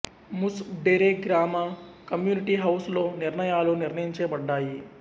ముసుప్ డెరె గ్రామ community house లో నిర్ణయాలు నిర్ణయించబడ్డాయి